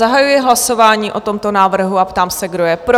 Zahajuji hlasování o tomto návrhu a ptám se, kdo je pro?